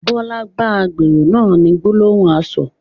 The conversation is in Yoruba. Bọlá bá agbèrò náà ni gbólóhùn asọ̀